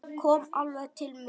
Kom alveg til mín.